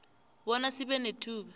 bona sibe nethuba